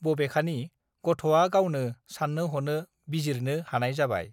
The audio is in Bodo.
बबेखानि गथआ गावनो सान्नो हनो बिजिरनो हानाय जाबाय